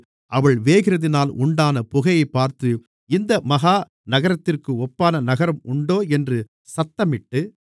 அவள் வேகிறதினால் உண்டான புகையைப் பார்த்து இந்த மகா நகரத்திற்கு ஒப்பான நகரம் உண்டோ என்று சத்தமிட்டு